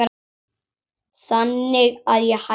Þannig að ég hætti.